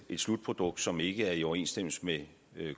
slutprodukt som ikke er i overensstemmelse med